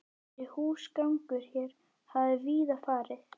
Þessi húsgangur hér hafði víða farið